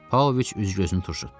Pauloviç üz-gözünü turşutdu.